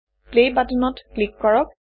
play বাটনত click কৰক